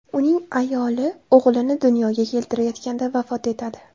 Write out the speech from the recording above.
Uning ayoli o‘g‘lini dunyoga keltirayotganda vafot etadi.